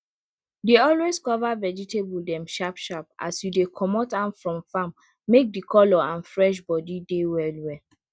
dey always cover vegetable dem sharp sharp as you dey comot am from farm make de color and fresh body dey well well